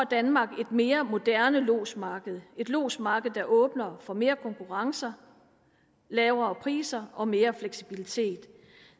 danmark et mere moderne lodsmarked det et lodsmarked der åbner for mere konkurrence lavere priser og mere fleksibilitet